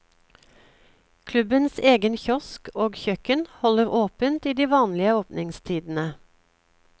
Klubbens egen kiosk og kjøkken holder åpent i de vanlige åpningstidene.